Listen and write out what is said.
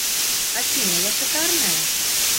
афина я шикарная